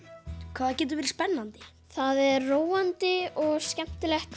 hvað það getur verið spennandi það er róandi og skemmtilegt